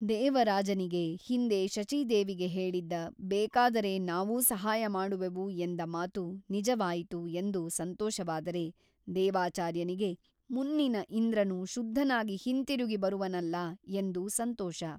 ದೇವರಾಜನಿಗೆ ಹಿಂದೆ ಶಚೀದೇವಿಗೆ ಹೇಳಿದ್ದ ಬೇಕಾದರೆ ನಾವೂ ಸಹಾಯ ಮಾಡುವೆವು ಎಂದ ಮಾತು ನಿಜವಾಯಿತು ಎಂದು ಸಂತೋಷವಾದರೆ ದೇವಾಚಾರ್ಯನಿಗೆ ಮುನ್ನಿನ ಇಂದ್ರನು ಶುದ್ಧನಾಗಿ ಹಿಂತಿರುಗಿ ಬರುವನಲ್ಲ ಎಂದು ಸಂತೋಷ.